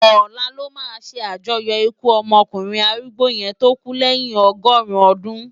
Òlá lò má sé ájòyò ikú òkúnrin árúgbó yèn tó kú lèyin ọgọrun òdún